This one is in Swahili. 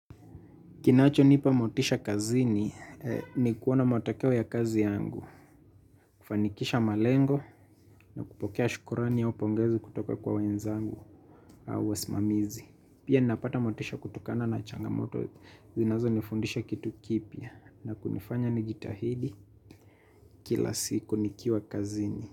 Kinacho nipa motisha kazini, ni kuona matokeo ya kazi yangu, kufanikisha malengo na kupokea shukurani au pongezi kutoka kwa wenzangu au wasimamizi. Pia napata motisha kutokana na changamoto zinazonifundisha kitu kipya na kunifanya nijitahidi kila siku nikiwa kazini.